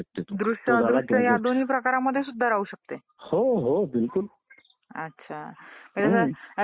निवडणूकच झाली नाही तर आपला राज्यकारभारच चालू शकणार नाही ना देशाचा